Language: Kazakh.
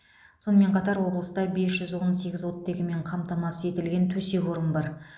сонымен қатар облыста бес жүз он сегіз оттегімен қамтамасыз етілген төсек орын бар